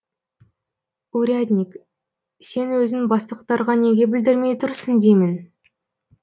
урядник сен өзің бастықтарға неге білдірмей тұрсың деймін